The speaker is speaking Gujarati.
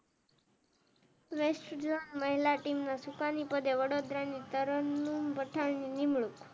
વેસ્ટ ઝોન મહિલા ટીમ નું ચુકાની પદે વડોદરા તરન્નુમ પઠાણ ની નિમણૂંક.